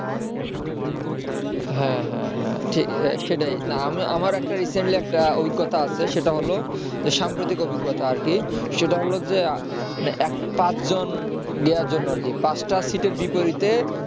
হ্যাঁ হ্যাঁ হ্যাঁ সেটাই না মানে আমি আমার recently একটা অভিজ্ঞতা আছে সেটা হল সাম্প্রতিক অভিজ্ঞতা আর কি সেটা হল যে পাঁচজন নেয়ার জন্য আরকি পাঁচটা সিটের বিপরীতে